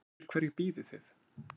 Eftir hverju bíðið þið